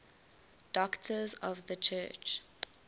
doctors of the church